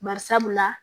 Bari sabula